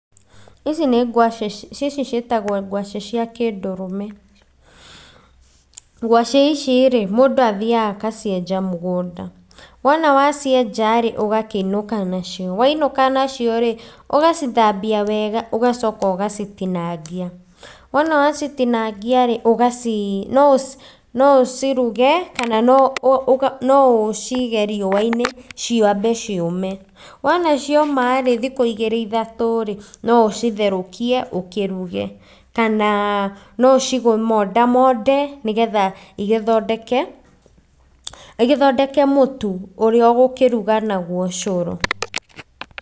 Ici nĩ ngwacĩ, ici ciĩtagwo ngwacĩ cia kĩndũrũme. Gwacĩ ici-rĩ mũndũ athiaga agacienja mũgũnda. Wona wacienja-rĩ ũgakĩinũka nacio. Wainũka nacio-rĩ, ũgacithambia wega ũgacoka ũgacitinangia. Wona wacitinangia-rĩ ũgaci no ũciruge kana no ũcige riũa-inĩ ciambe ciũme. Wona cioma-rĩ thikũ igĩrĩ ithatũ, no ũcitherũkie ũkĩruge kana no ũcimonda monde nĩgetha igĩthondeke, igĩthondeke mũtu ũrĩa ũgũkĩruga naguo cũrũ